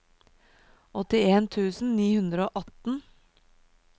åttien tusen ni hundre og atten